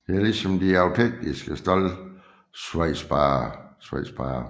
Er ligesom de austenitiske stål svejsbare